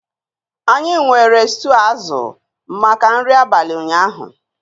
Anyị nwere stew azụ maka nri abalị ụnyaahụ